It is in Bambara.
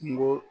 Kungo